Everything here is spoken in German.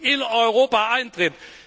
in Europa eintritt.